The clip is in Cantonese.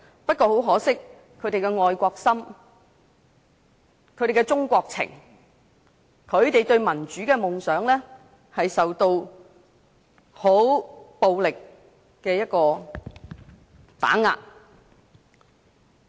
不過，很可惜，他們的愛國心、中國情、對民主的夢想受到很暴力的打遏。